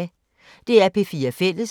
DR P4 Fælles